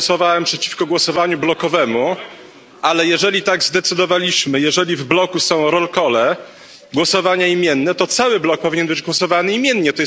Ja głosowałem przeciwko głosowaniu blokowemu, ale jeżeli tak zdecydowaliśmy, jeżeli w bloku są głosowania imienne, to cały blok powinien być głosowany imiennie.